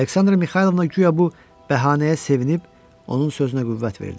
Aleksandra Mixaylovna guya bu bəhanəyə sevinib, onun sözünə qüvvət verdi.